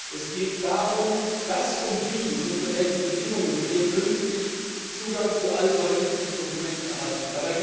Es geht darum, dass und wie und unter welchen Bedingungen wir künftig Zugang zu all solchen Dokumenten erhalten.